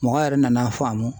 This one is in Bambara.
Mɔgɔ yɛrɛ nan'a faamu.